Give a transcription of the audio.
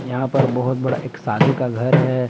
यहां पर बहुत बड़ा एक शादी का घर है।